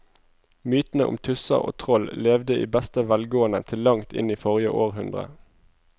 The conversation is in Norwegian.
Mytene om tusser og troll levde i beste velgående til langt inn i forrige århundre.